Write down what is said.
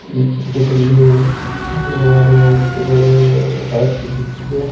ಈ ಚಿತ್ರದಲ್ಲಿ ಹಲವಾರು ವಸ್ತುಗಳು ರಾಶಿ ಬಿದ್ದಿದೆ.